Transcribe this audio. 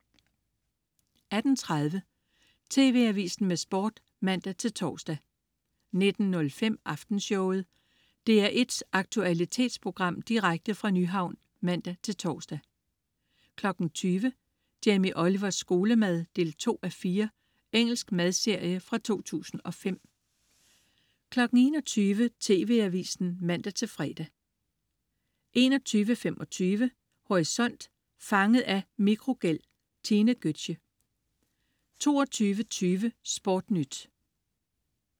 18.30 TV Avisen med Sport (man-tors) 19.05 Aftenshowet. DR1's aktualitetsprogram direkte fra Nyhavn (man-tors) 20.00 Jamie Olivers skolemad 2:4. Engelsk madserie fra 2005 21.00 TV Avisen (man-fre) 21.25 Horisont. Fanget af mikrogæld. Tine Götzsche 22.20 SportNyt